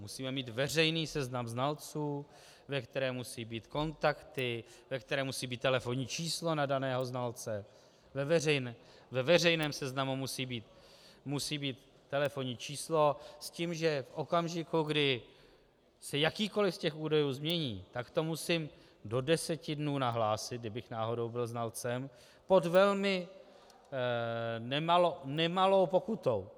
Musíme mít veřejný seznam znalců, ve kterém musí být kontakty, ve kterém musí být telefonní číslo na daného znalce, ve veřejném seznamu musí být telefonní číslo s tím, že v okamžiku, kdy se jakýkoliv z těch údajů změní, tak to musím do deseti dnů nahlásit, kdybych náhodou byl znalcem, pod velmi nemalou pokutou.